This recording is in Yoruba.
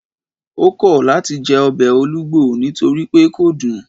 O kọ lati jẹ ọbẹ olugbo nitori pe kò dun